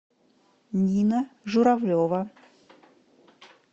нина журавлева